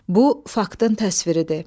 Bu faktın təsviridir.